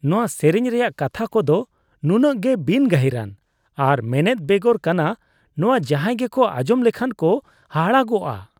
ᱚᱱᱟ ᱥᱮᱨᱮᱧ ᱨᱮᱭᱟᱜ ᱠᱟᱛᱷᱟ ᱠᱚᱫᱚ ᱱᱩᱱᱟᱹᱜ ᱜᱮ ᱵᱤᱱᱼᱜᱟᱹᱦᱤᱨᱟᱱ ᱟᱨ ᱢᱮᱱᱮᱫ ᱵᱮᱜᱚᱨ ᱠᱟᱱᱟ ᱱᱚᱶᱟ ᱡᱟᱦᱟᱭ ᱜᱮᱠᱚ ᱟᱸᱡᱚᱢ ᱞᱮᱠᱷᱟᱱ ᱠᱚ ᱦᱟᱦᱟᱲᱟᱜᱚᱜᱼᱟ ᱾